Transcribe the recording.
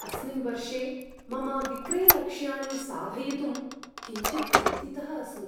अस्मिन् वर्षे मम विक्रयलक्ष्याणि साधयितुं किञ्चित् चिन्तितः अस्मि।